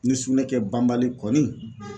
Ni sugunɛ kɛ banbali kɔni